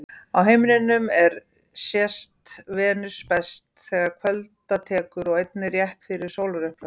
Á himninum er sést Venus best þegar kvölda tekur og einnig rétt fyrir sólarupprás.